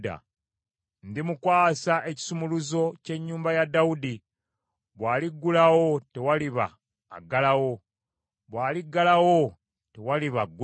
Ndimukwasa ekisumuluzo ky’ennyumba ya Dawudi; bw’aliggulawo tewaliba aggalawo, bw’aliggalawo tewaliba aggulawo.